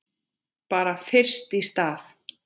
Bara fyrst í stað.